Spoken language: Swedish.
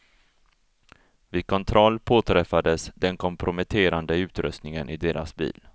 Vid kontroll påträffades den komprometterande utrustningen i deras bil.